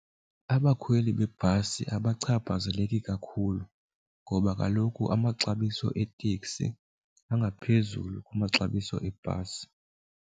Abakhweli bebhasi abachaphazeleki kakhulu ngoba kaloku amaxabiso eetekisi angaphezulu kwamaxabiso ebhasi.